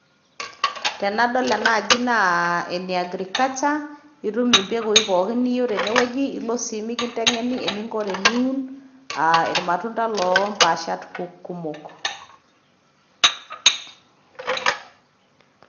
Tenadol ena aji naa ene agriculture itum embekui pookin niyeu tene weji ilo si mikinteng'eni eninko tiniun olmatunda lo mpaashat kumok.